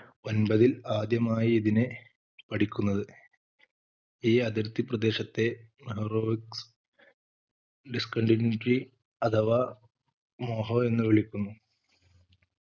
ഒൻപതിൽ ആദ്യമായി ഇതിനെ പഠിക്കുന്നത് ഈ അതിർത്തി പ്രദേശത്തെ mohorovicic discontinuity അഥവാ മോഹോ എന്ന് വിളിക്കുന്നു